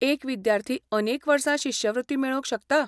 एक विद्यार्थी अनेक वर्सां शिश्यवृत्ती मेळोवंक शकता?